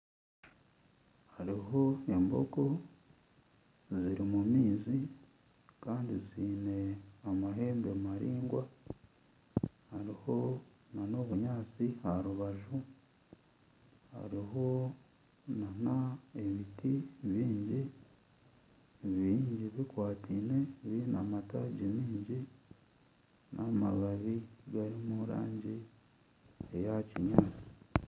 Hariho embogo ziri omu maizi kandi ziine amahembe maraingwa hariho nana obunyaatsi aha rubaju hariho nana ebiti bingi, bingi bikwataine biine amataagi mingi n'amababi gari omurangi eya kinyaatsi